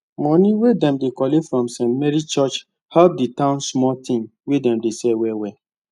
money wey dem collect from st marys church help the town small thing wey dem dey sell well well